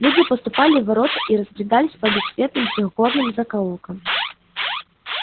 люди поступали в ворота и разбредались по бессветным трёхгорным закоулкам